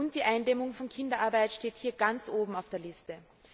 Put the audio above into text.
Die Eindämmung von Kinderarbeit steht hier ganz oben auf der Liste.